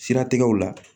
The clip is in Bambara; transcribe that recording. Siratigɛw la